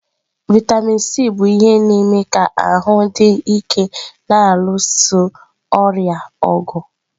Vịatamin Sii bụ ihe na-eme ka ahụ dị ike na-alụso ọrịa ọgụ.